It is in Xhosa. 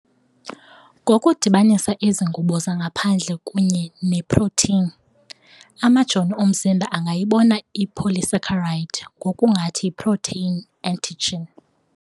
Ngokudibanisa ezi ngubo zangaphandle kunye neeprotheyini, amajoni omzimba angayibona ipolysaccharide ngokungathi yiprotheyini antigen.